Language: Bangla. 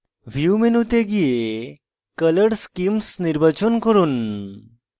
view মেনুতে go color schemes নির্বাচন করুন